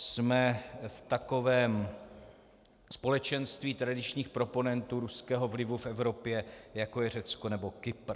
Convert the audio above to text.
Jsme v takovém společenství tradičních proponentů ruského vlivu v Evropě, jako je Řecko nebo Kypr.